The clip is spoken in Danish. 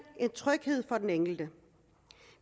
tryghed for den enkelte